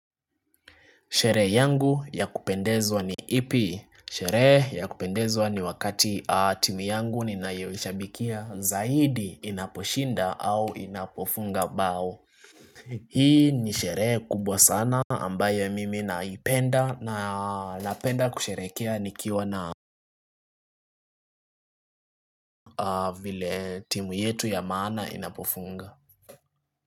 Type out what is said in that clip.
Shere yangu ya kupendezwa ni ipi. Shere ya kupendezwa ni wakati timu yangu ninayoishabikia zaidi inaposhinda au inapofunga bao. Hii ni sherehe kubwa sana ambayo mimi naipenda napenda kusherekea nikiwa na vile timu yetu ya maana inapofunga.